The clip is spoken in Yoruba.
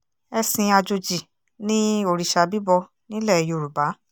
ẹ̀sìn àjòjì ni òrìṣà bíbọ nílẹ̀ yorùbá